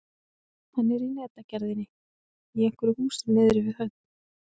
Hann var í netagerðinni í einhverju húsi niðri við höfn.